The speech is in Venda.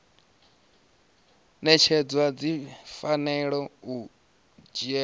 ṅetshedzwa dzi fanela u dzhielwa